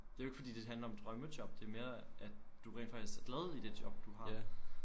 Det er jo ikke fordi det handler om drømmejob det mere at du rent faktisk er glad i det job du har